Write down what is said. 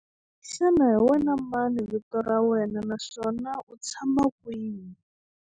Xana hi wena mani vito ra wena naswona u tshama kwihi?